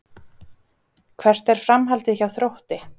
Hvert er framhaldið hjá Þrótti?